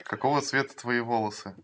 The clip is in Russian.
какого цвета твои волосы